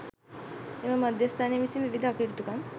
එම මධ්‍යස්ථානය විසින් විවිධ අකටයුතුකම්